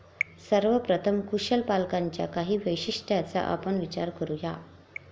सर्वप्रथम, कुशल पालकांच्या काही वैशिष्ट्यांचा आपण विचार करू या.